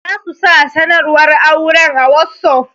Za su sa sanarwar auren a wossof.